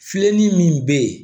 Filenin min be ye